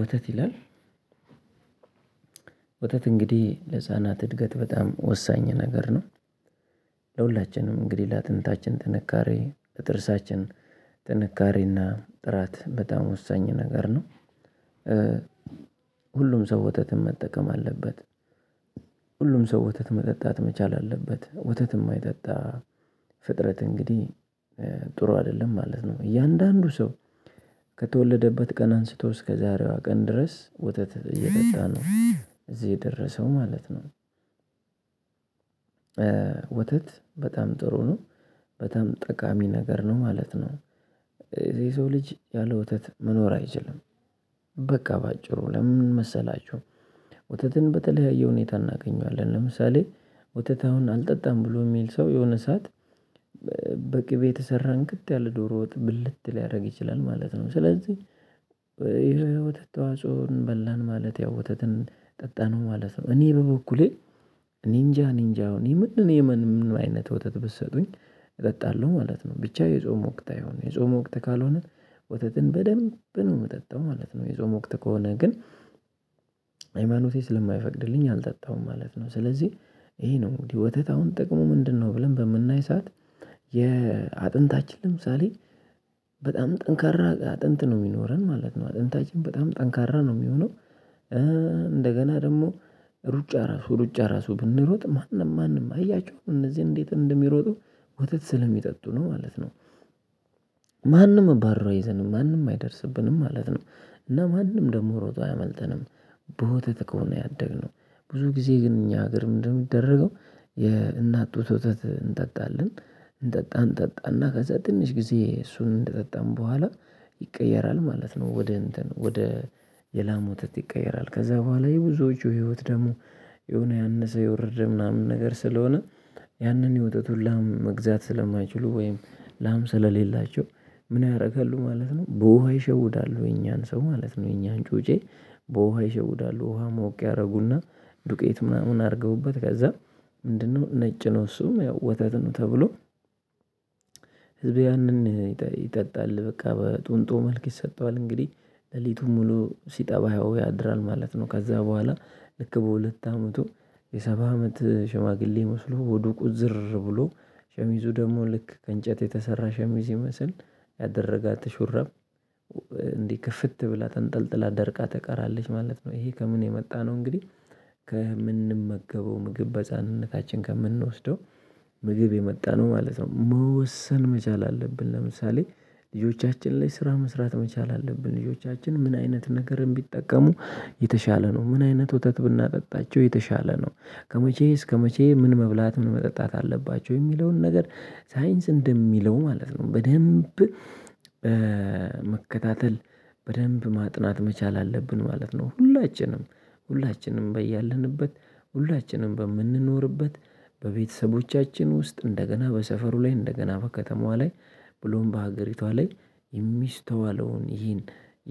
ወተት ይላል ወተት እንግዲህ ለህፃናት እድገት በጣም ወሳኝ ነገር ነው። ለሁላችንም እንግዲህ ለአጥንታችን ጥንካሬ ለጥርሳችን ጥንካሬና ጥራት በጣም ወሳኝ ነገር ነው። ሁሉም ሰው ወተትን መጠቀም አለበት። ሁሉም ሰው ወተት መጠጣት መቻል አለበት ወተት የማይጠጣ ፍጥረት እንግዲህ ጥሩ አይደለም ማለት ነው። እያንዳንዱ ሰው ከተወለደበት ቀን አንስቶ እስከዛሬዋ ቀን ድረስ ወተት እየጠጣ ነው እዚህ የደረሰው ማለት ነው። ወተት በጣም ጥሩ ነው። በጣም ጠቃሚ ነገር ነው ማለት ነው። የሰው ልጅ ያለ ወተት መኖር አይችልም። በቃ በአጭሩ ለምን መሰላችሁ? ወተትን በተለያየ ሁኔታ እናገኘዋለን ለምሳሌ ወተት አሁን አልጠጣም ብሎ የሚል ሰው የሆነ ሰዓት በቅቤ የተሰራን እንክት ያለ ዶሮ ወጥ ብልት ሊያደርግ ይችላል ማለት ነው። ስለዚህ የወተት ተዋጽኦን በላን ማለት ያው ወተትን ጠጣነው ማለት ነው። እኔ በበኩሌ እኔጃ እኔጃ ምን ምንም አይነት ወተት ብትሰጡኝ እጠጣለሁ ማለት ነው። ብቻ የጾም ወቅት አይሆን የጾም ወቅት ካልሆነ ወተትን በደንብ ነው የምጠጣው ማለት ነው። የጾም ወቅት ከሆነ ግን ሀይማኖቴ ስለማይፈቅድልኝ አልጠጣሁም ማለት ነው። ስለዚህ ይሄ ነው ወተት አሁን ጥቅሙ ምንድነው? ብለን በምናይ ሰዓት የአጥንታችን ለምሳሌ በጣም ጠንካራ አጥንት ነው የሚኖረን ማለት ነው አጥንታችን በጣም ጠንካራ ነው የሚሆነው። እንደገና ደግሞ ሩጫ ራሱ ሩጫ ራሱ ብንሮጥ ማንም ማንም አያችሁ እነዚህን እንዴት እንደሚሮጡ ወተት ስለሚጠጡ ነው ማለት ነው። እባሮ አይዘንም ማንም አይደርስብንም ማለት ነው። እና ማንም ደግሞ ሮጦ አያመልጠንም። በወተት ከሆነ ያደግነው ብዙ ጊዜ ግን እኛ ሀገር ምንድነው? የሚደረገው የእናት ጡት ወተት እንጠጣለን እንጠጣ እንጠጣና ከዛ ትንሽ ጊዜ እሱን እንደጠጣን በኋላ ይቀየራል ማለት ነው። ወደ እንትን ወደ የላም ወተት ይቀየራል። ከዛ በኋላ የብዙዎቹ ህይወት ደግሞ የሆነ ያነሰ የወረደ ምናምን ነገር ስለሆነ ያንን የወተቱን ላም መግዛት ስለማይችሉ ወይም ላም ስለሌላቸው ምን ያደርጋሉ ማለት ነው? በውሃ ይሸውዳሉ የኛን ሰው ማለት ነው። የኛን ጩጬ በውሃ ይሸውዳሉ ውሃ ሞቅ ያደርጉና ዱቄት ምናምን አድርገውበት ከዛ ምንድነው ነጭ ነው እሱም ያው ወተት ነው ተብሎ። ህዝብ ያንን ይጠጣል በቃ በጡንጦ መልክ ይሰጠዋል እንግዲህ ሌሊቱን ሙሉ ሲጠባየው ያድራል ማለት ነው። ከዛ በኋላ ልክ በሁለት አመቱ የሰባ አመት ሽማግሌ መስሎ ወደ ቁዝር ብሎ ሸሚዙ ደግሞ ልክ ከእንጨት የተሰራ ሸሚዝ ይመስል ያደረጋት ሹራብ። እንዲህ ክፍት ብላ ተንጠልጥላ ደርቃ ተቀራለች ማለት ነው። ይሄ ከምን የመጣ ነው? እንግዲህ ከምንመገበው ምግብ በጻንነታችን ከምንወስደው ምግብ የመጣ ነው ማለት ነው። መወሰን መቻል አለብን ለምሳሌ ልጆቻችን ላይ ስራ መስራት መቻል አለብን ልጆቻችን ምን አይነት ነገርን ቢጠቀሙ የተሻለ ነው ምን አይነት ወተት ብናጠጣቸው የተሻለ ነው። ከመቼ እስከመቼ ምን መብላት ምን መጠጣት አለባቸው የሚለውን ነገር ሳይንስ እንደሚለው ማለት ነው በደንብ መከታተል በደንብ ማጥናት መቻል አለብን ማለት ነው። ሁላችንም በያለንበት ሁላችንም በምንኖርበት በቤተሰቦቻችን ውስጥ እንደገና በሰፈሩ ላይ እንደገና በከተማዋ ላይ ብሎም በሀገሪቷ ላይ የሚስተዋለውን ይሄን